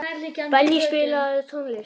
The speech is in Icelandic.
Benný, spilaðu tónlist.